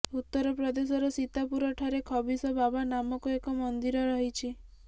ଉତ୍ତରପ୍ରଦେଶର ସୀତାପୁରଠାରେ ଖବିସ ବାବା ନାମକ ଏକ ମନ୍ଦିର ରହିଛି